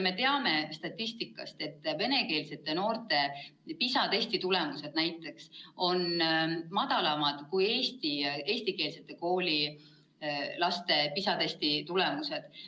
Me teame statistikast, et venekeelsete noorte PISA-testi tulemused on kehvemad kui eestikeelsete koolide laste PISA-testi tulemused.